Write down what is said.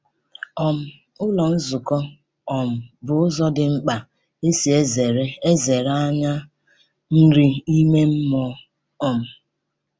um Ụlọ nzukọ um bụ ụzọ dị mkpa e si ezere ezere anyị nri ime mmụọ. um